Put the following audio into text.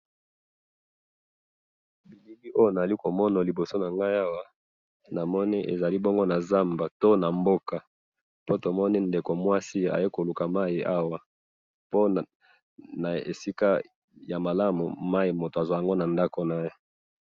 bilili oyo na zali ko mona liboso na ngai awa, namoni ezali bongo na zamba to na mboka, po tomoni ndeko mwasi aye ku luka mayi awa, po na esika ya malamu mayi moto azua yango na ndako naye